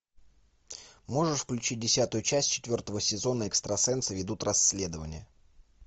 можешь включить десятую часть четвертого сезона экстрасенсы ведут расследование